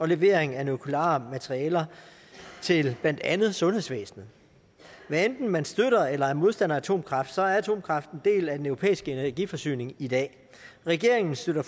levering af nukleare materialer til blandt andet sundhedsvæsenet hvad enten man støtter eller er modstander af atomkraft så er atomkraft en del af den europæiske energiforsyning i dag regeringen støtter